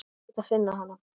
Ég hlaut að finna hana.